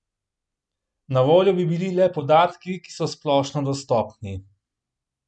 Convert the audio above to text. Na voljo bi bili le podatki, ki so splošno dostopni.